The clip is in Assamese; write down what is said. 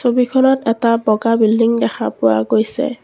ছবিখনত এটা বগা বিল্ডিং দেখা পোৱা গৈছে।